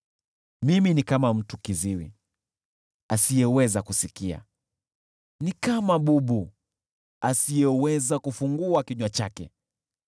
Mimi ni kama mtu kiziwi, asiyeweza kusikia, ni kama bubu, asiyeweza kufungua kinywa chake,